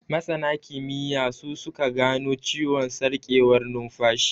Masana kimiyya, su su ka gano ciwon sarƙewar nunfashi.